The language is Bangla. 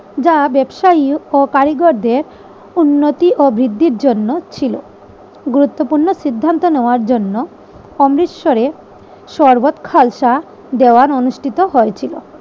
যা ব্যবসায়ী ও কারিগরদের উন্নতি ও বৃদ্ধির জন্য ছিল। গুরুত্বপূর্ণ সিদ্ধান্ত নেওয়ার জন্য অমৃতসরের শরবত খালসা দেওয়ার অনুষ্ঠিত হয়েছিল।